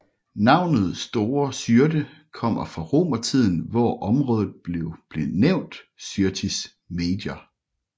Navnet Store Syrte kommer fra romertiden hvor området blev benævnt Syrtis Major